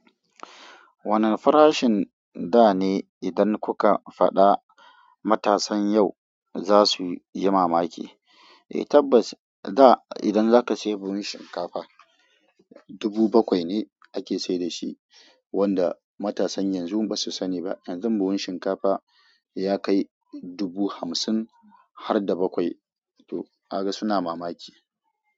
Wane farashin da ne idan kuka faɗa matasan yau za su yi mamaki. Eh tabbas, da idan zaka sayi buhun shinkafa, dubu bakwai ne ake sai da shi, wanda matasan yanzu ba su sani ba. Yanzu buhun shinkafa ya kai dubu hamsin har da bakwai. To kaga suna mamaki.